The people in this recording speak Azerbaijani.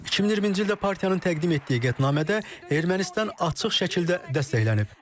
2020-ci ildə partiyanın təqdim etdiyi qətnamədə Ermənistan açıq şəkildə dəstəklənib.